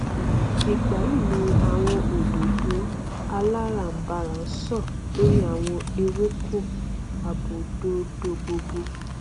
ìgbà yí ni àwọn òdòdó aláràbarà ń so lórí àwọn ewéko abòdòdó gbogbo